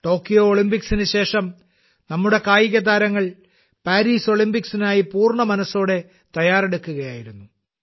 Tokyo ഒളിമ്പിക്സിന് ശേഷം നമ്മുടെ കായികതാരങ്ങൾ പാരീസ് ഒളിമ്പിക്സിനായി പൂർണ്ണമനസ്സോടെ തയ്യാറെടുക്കുകയായിരുന്നു